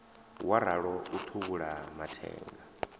wa ralo u thuvhula mathenga